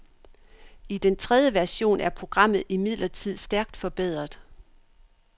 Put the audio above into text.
I den tredje version er programmet imidlertid stærkt forbedret.